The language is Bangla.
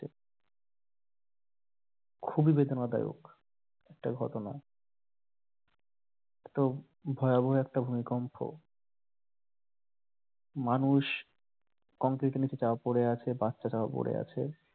খুবই বেদনা দায়ক একটা ঘটনা এতো ভয়াবহ একটা ভূমিকম্প মানুষ কংক্রিটের নিচে চাপা পড়ে আছে বাচ্চারাও পড়ে আছে।